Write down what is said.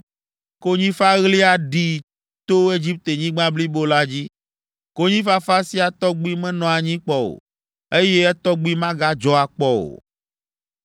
Konyifaɣli aɖi to Egiptenyigba blibo la dzi. Konyifafa sia tɔgbi menɔ anyi kpɔ o, eye etɔgbi magadzɔ akpɔ o.